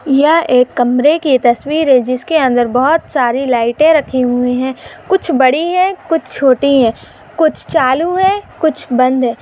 यह एक कमरे की तस्वीर है जिसके अंदर बहुत सारी लाइटें रखी हुई है कुछ बड़ी है कुछ छोटी है कुछ चालू है कुछ बंद है।